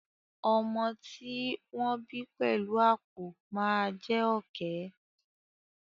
Ọmọ tí ó wọ́n bí pẹ̀lú àpọ̀ máa jé Ọ̀kẹ́.